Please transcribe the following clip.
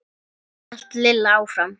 hélt Lilla áfram.